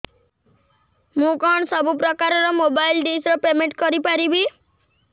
ମୁ କଣ ସବୁ ପ୍ରକାର ର ମୋବାଇଲ୍ ଡିସ୍ ର ପେମେଣ୍ଟ କରି ପାରିବି